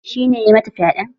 Shi ne ya mata fyaɗen?